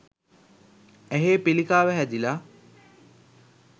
ඇහේ පිළිකාව හැදිලා